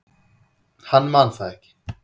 Hann man það ekki.